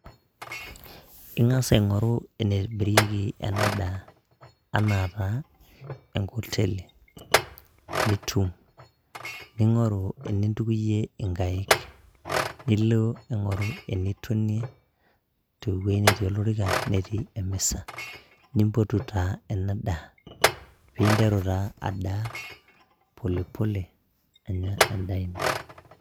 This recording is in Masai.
Ing'as aing'oru enemirieki ena daa, anaa taa enkoteli, nitum , ningoru enintukuyie inkaik, nilo aing'oru enetonie, te wueji netii olorika netii emisa, nimpotu taa ena daa, paa interu taa adaa, pole pole Anya edaa ino.